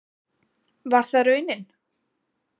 Var það raunin?